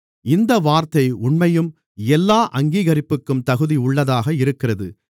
இந்த வார்த்தை உண்மையும் எல்லா அங்கீகரிப்புக்கும் தகுதி உள்ளதாக இருக்கிறது